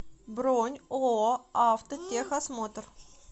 бронь ооо автотехосмотр